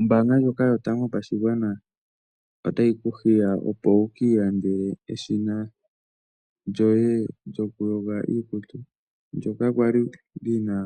Ombaanga ndjoka Yotango Yopashigwana otayi ku hiya opo wu ki ilandele eshina lyoye lyokuyoga iikutu ndyoka kwa li lyi na